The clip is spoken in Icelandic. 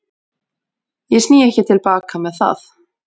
Ég sný ekki til baka með það.